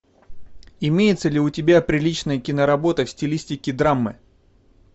имеется ли у тебя приличная киноработа в стилистике драмы